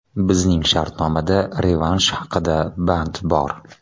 Bizning shartnomada revansh haqida band bor.